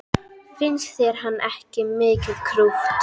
Finnst þér hann ekki mikið krútt?